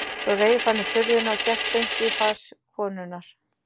Svo reif hann upp hurðina og gekk beint í flas konunnar.